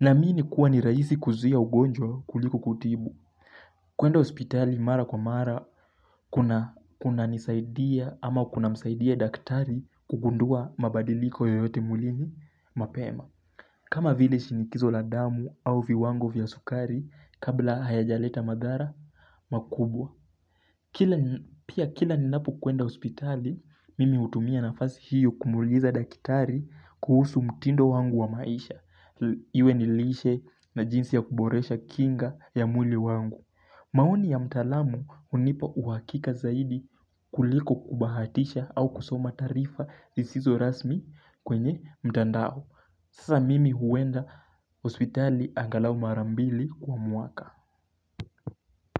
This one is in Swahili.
Naamini kuwa ni raisi kuzuia ugonjwa kuliko kutibu. Kuenda hospitali mara kwa mara, kunanisaidia ama kuna msaidia daktari kugundua mabadiliko yoyote mwilini mapema. Kama vile shinikizo la damu au viwango vya sukari kabla hayajaleta madhara makubwa. Pia kila ninapo kuenda hospitali, mimi hutumia nafasi hiyo kumuuliza dakitari kuhusu mtindo wangu wa maisha. Iwe ni lishe na jinsi ya kuboresha kinga ya mwili wangu. Maoni ya mtaalamu hunipa uhakika zaidi kuliko kubahatisha au kusoma taarifa lisizo rasmi kwenye mtandao. Sasa mimi huenda hospitali angalau Mara mbili kwa mwaka.